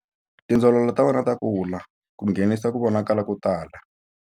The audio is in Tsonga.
Tindzololo ta wena ta kula ku nghenisa ku vonakala ko tala.